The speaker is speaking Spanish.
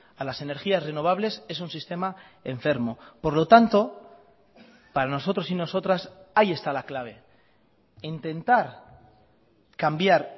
a las energías renovables es un sistema enfermo por lo tanto para nosotros y nosotras ahí está la clave intentar cambiar